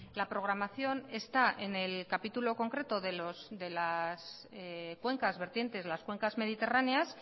la programación está en el capítulo concreto de las cuencas vertientes las cuencas mediterráneas